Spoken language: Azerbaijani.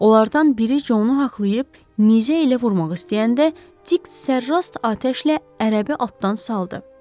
Onlardan biri Conu haqlayıb nizə ilə vurmaq istəyəndə Dik sərrast atəşlə ərəbi atdan saldı.